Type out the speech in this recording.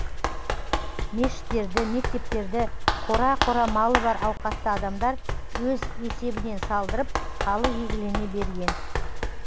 мешіттерді мектептерді қора қора малы бар ауқатты адамдар өз есебінен салдырып халық игілігіне берген